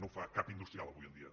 no ho fa cap industrial avui en dia